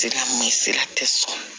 Sira min sira tɛ sɔrɔ